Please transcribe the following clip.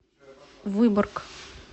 выборг